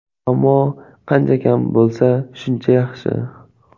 Ammo qancha kam bo‘lsa, shuncha yaxshi.